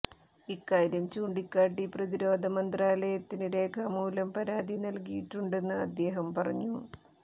ഇക്കാര്യം ചൂണ്ടിക്കാട്ടി പ്രതിരോധ മന്ത്രാലയത്തിന് രേഖാമൂലം പരാതി നല്കിയിട്ടുണ്ടെന്ന് അദ്ദേഹം പറഞ്ഞു